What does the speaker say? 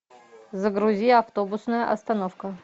загрузи автобусная остановка